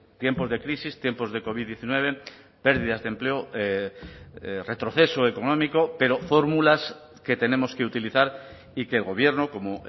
tiempos de crisis tiempos de covid diecinueve pérdidas de empleo retroceso económico pero fórmulas que tenemos que utilizar y que el gobierno como